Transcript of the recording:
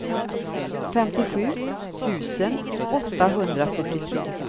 femtiosju tusen åttahundrafyrtiotre